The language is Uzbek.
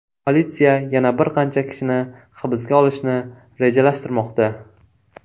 Politsiya yana bir qancha kishini hibsga olishni rejalashtirmoqda.